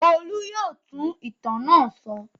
Olú yóò tú ìtàn náà sọ.